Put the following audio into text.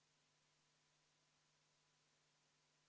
Selline küsimus: kuidas teil komisjonis tunne oli, milleks seda kõike vaja on?